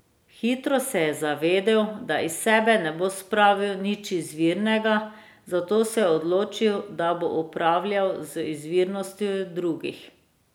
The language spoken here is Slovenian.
Hitro se je zavedel, da iz sebe ne bo spravil nič izvirnega, zato se je odločil, da bo upravljal z izvirnostjo drugih.